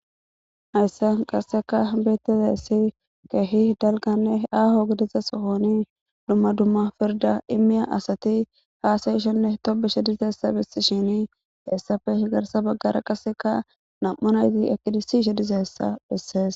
Hayssan qasseka bitizessi kehi dalganne aaho gideza sohoni dumma dumma firda immiya asati haasayishenne tobushe dizeessa bisi shini heessafe higarsa baggara qaseka nam7unayti ekidissishe dizeessa dhissees.